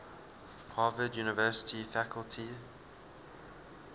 harvard university faculty